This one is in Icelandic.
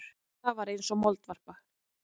Lilla var eins og moldvarpa.